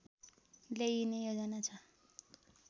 ल्याइने योजना छ